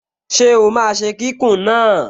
Ṣé ó máa ṣe kíkùn náà?